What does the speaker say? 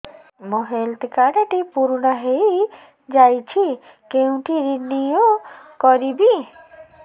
ମୋ health card ଟି ପୁରୁଣା ହେଇଯାଇଛି କେଉଁଠି ରିନିଉ କରିବି